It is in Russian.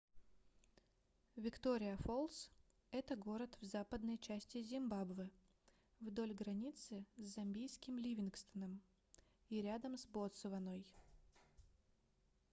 виктория-фолс это город в западной части зимбабве вдоль границы с замбийским ливингстоном и рядом с ботсваной